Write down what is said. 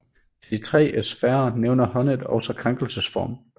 Til de tre sfærer nævner Honneth også krænkelsesform